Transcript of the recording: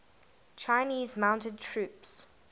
chinese mounted troops